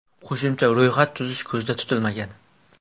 Qo‘shimcha ro‘yxat tuzish ko‘zda tutilmagan.